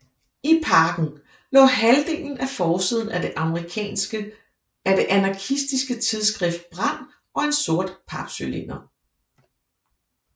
I pakken lå halvdelen af forsiden af det anarkistiske tidsskrift Brand og en sort papcylinder